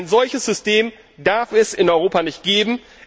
Ein solches System darf es in Europa nicht